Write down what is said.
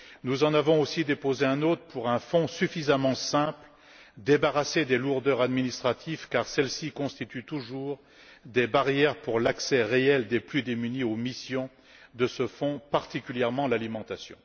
Nous avons aussi déposé un autre amendement pour un fonds suffisamment simple, débarrassé des lourdeurs administratives, car celles ci constituent toujours des barrières à l'accès réel des plus démunis aux missions de ce fonds, particulièrement l'alimentation.